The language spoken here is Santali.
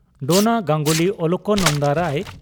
ᱰᱚᱱᱟ ᱜᱟᱝᱜᱩᱞᱤ ᱚᱞᱚᱠᱟᱱᱚᱱᱫᱟ ᱨᱟᱭ